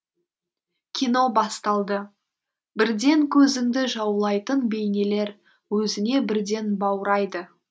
кино басталды бірден көзіңді жаулайтын бейнелер өзіне бірден баурайды